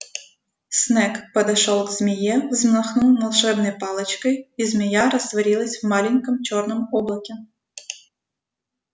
снегг подошёл к змее взмахнул волшебной палочкой и змея растворилась в маленьком чёрном облаке